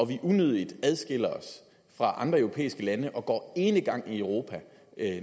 vi unødigt adskiller os fra andre europæiske lande og går enegang i europa